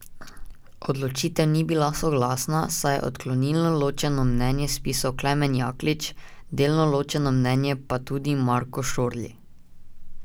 Odločitev ni bila soglasna, saj je odklonilno ločeno mnenje spisal Klemen Jaklič, delno ločeno mnenje pa tudi Marko Šorli.